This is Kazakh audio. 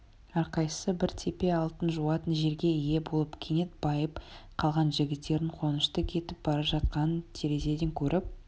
әрқайсысы бір тепе алтын жуатын жерге ие болып кенет байып қалған жігіттердің қуанышты кетіп бара жатқанын терезеден көріп